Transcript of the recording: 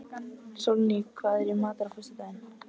Sólný, hvað er í matinn á föstudaginn?